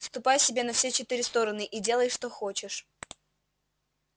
ступай себе на все четыре стороны и делай что хочешь